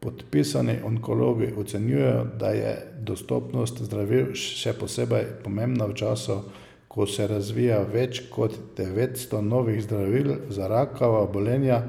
Podpisani onkologi ocenjujejo, da je dostopnost zdravil še posebej pomembna v času, ko se razvija več kot devetsto novih zdravil za rakava obolenja,